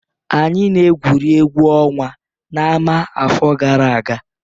Anyị na-egwuri egwu ọnwa na ámà afọ gara aga.